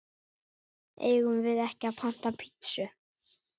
Eigum við ekki panta pitsu?